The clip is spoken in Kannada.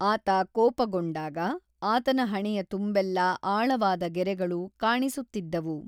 ಆತ ಕೋಪಗೊಂಡಾಗ, ಆತನ ಹಣೆಯ ತುಂಬೆಲ್ಲಾ ಆಳವಾದ ಗೆರೆಗಳು ಕಾಣಿಸುತ್ತಿದ್ದವು.